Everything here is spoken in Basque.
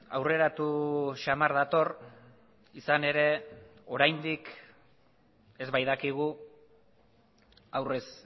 aurreratu samar dator izan ere oraindik ez baitakigu aurrez